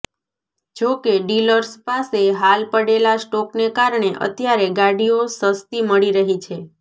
જો કે ડિલર્સ પાસે હાલ પડેલા સ્ટોકને કારણે અત્યારે ગાડીઓ સસ્તી મળી રહી છે